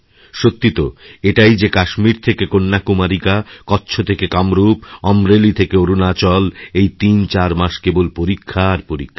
সত্যি তো এটাই যে কাশ্মীর থেকে কন্যাকুমারিকা কচ্ছ থেকে কামরূপ অম্রেলীথেকে অরুণাচল এই তিনচার মাস কেবল পরীক্ষা আর পরীক্ষা